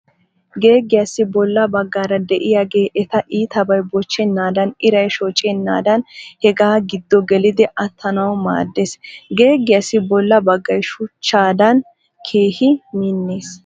Geeggiyaassi bolla baggaara de'iyage eta iitabay bochchennaadan iray shocennaadan hegaa giddo gelidi attanawu maaddes. Geeggiyaassi bolla baggay shuchchaadan keehi minnes.